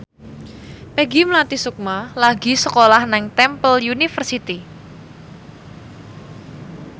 Peggy Melati Sukma lagi sekolah nang Temple University